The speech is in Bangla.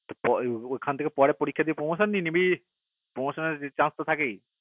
ওখান থেকে পরীক্ষা দিয়ে promotion নিয়ে নিবি promotion chances এর তো থেকেই